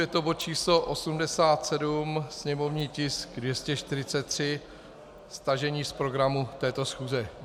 Je to bod číslo 87, sněmovní tisk 243, stažení z programu této schůze.